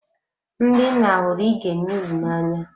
Ndị nna hụrụ ige niuz na anya.